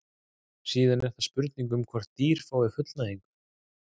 síðan er það spurningin um hvort dýr fái fullnægingu